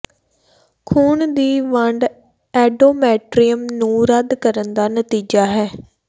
ਖ਼ੂਨ ਦੀ ਵੰਡ ਐਂਡੋਮੈਟਰ੍ਰੀਅਮ ਨੂੰ ਰੱਦ ਕਰਨ ਦਾ ਨਤੀਜਾ ਹੈ